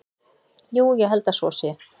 Jú, ég held að svo sé.